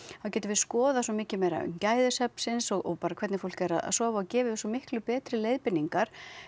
þá getum við skoðað svo mikið meira um gæði svefnsins og bara hvernig fólk er að sofa og gefið þeim svo miklu betri leiðbeiningar